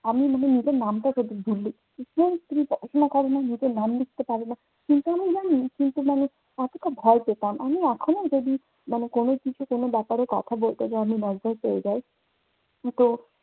আমি মানে নিজের নামটাও ভুল লিখি। নিজের নাম লিখতে পারেনা। কিন্তু আমি জানি সেসময় এতটা ভয় পেতাম, আমি এখনো যদি মানে কোনো কিছু কোনো ব্যাপারে কথা বলতে যায় আমি যাই। তো